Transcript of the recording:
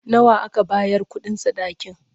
Nawa aka bayar kuɗin sadakin?